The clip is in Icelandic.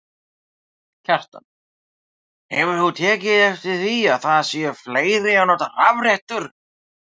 Kjartan: Hefur þú tekið eftir því að það séu fleiri að nota rafrettur?